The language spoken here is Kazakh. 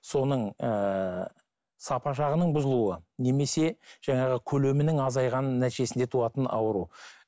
соның ыыы сапа жағының бұзылуы немесе жаңағы көлемінің азайғанының нәтижесінде туатын ауру